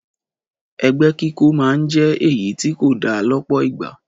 Ẹgbẹ́ kíkó máa ń jẹ́ èyí tí kò da lọ́pọ̀ ìgbà